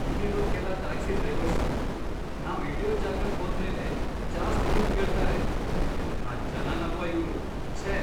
ಇಲ್ಲಿರೋ ಕೆಲ taxi drivers ನಾವ್ ಇಳ್ಯೋ ಜಾಗಕ್ ಹೋದ್ಮೇಲೆ ಜಾಸ್ತಿ ದುಡ್ಡ್ ಕೇಳ್ತಾರೆ, ಎಂಥಾ ಜನನಪ್ಪಾ ಇವ್ರು.. ಛೇ!